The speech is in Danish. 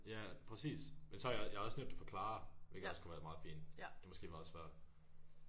Ja præcis men så har jeg også jeg har også nævnt det for Clara hvilket også kunne være meget fint det er måske meget svært